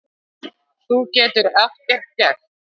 Þú getur ekkert gert.